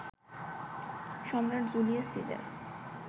Samrat Julius caesar